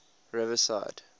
riverside